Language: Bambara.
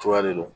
Cogoya de don